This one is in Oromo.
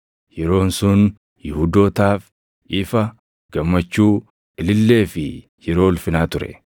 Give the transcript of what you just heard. Yeroon sun Yihuudootaaf ifa, gammachuu, ilillee fi yeroo ulfinaa ture.